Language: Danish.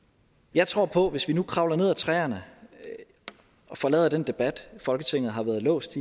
jeg tror på at hvis vi nu kravlede træerne og forlod den debat folketinget har været låst